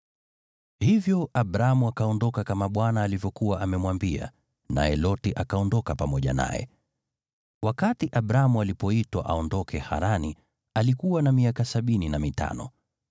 Hivyo Abramu akaondoka kama Bwana alivyokuwa amemwambia; naye Loti akaondoka pamoja naye. Wakati Abramu alipoitwa aondoke Harani, alikuwa na miaka sabini na mitano.